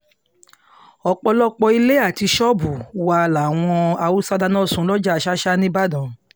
ọ̀pọ̀lọpọ̀ ilé àti ṣọ́ọ̀bù wa làwọn haúsá um dáná sun lọ́jà ṣàṣà níìbàdàn